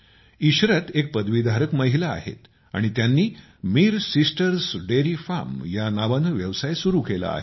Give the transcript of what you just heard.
इशरत एक पदवीधारक महिला आहेत आणि त्यांनी मीर सिस्टर्स डेरी फार्म या नावाने व्यवसाय सुरु केला आहे